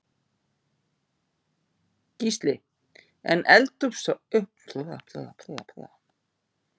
Gísli: En eldsupptök eru þau ljós?